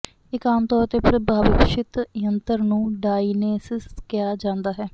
ਇਕ ਆਮ ਤੌਰ ਤੇ ਪ੍ਰਭਾਸ਼ਿਤ ਯੰਤਰ ਨੂੰ ਡਾਇਨੇਸਿਸ ਕਿਹਾ ਜਾਂਦਾ ਹੈ